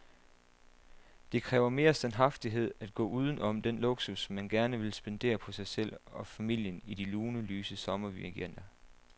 Det kræver mere standhaftighed at gå uden om den luksus, man gerne vil spendere på sig selv og familien i de lune, lyse sommerweekender.